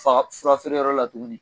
Fa furafeereyɔrɔ la tuguni